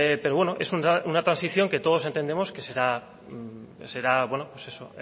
pero bueno es una transición que todos entendemos que será bueno eso